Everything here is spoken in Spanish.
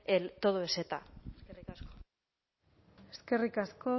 el todo es eta eskerrik asko